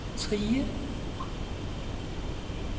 Trige